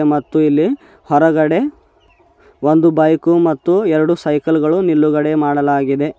ಮತ್ತು ಇಲ್ಲಿ ಹೊರಗಡೆ ಒಂದು ಬೈಕು ಮತ್ತು ಎರಡು ಸೈಕಲ್ ಗಳು ನಿಲುಗಡೆ ಮಾಡಲಾಗಿದೆ.